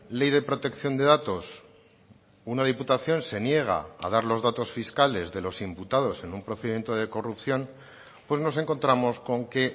ley de protección de datos una diputación se niega a dar los datos fiscales de los imputados en un procedimiento de corrupción pues nos encontramos con que